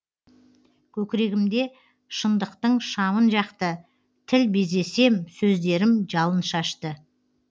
көкірегімде шындықтың шамын жақты тіл безесем сөздерім жалын шашты